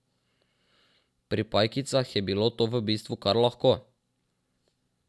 Pri pajkicah je bilo to v bistvu kar lahko.